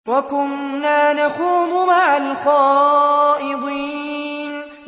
وَكُنَّا نَخُوضُ مَعَ الْخَائِضِينَ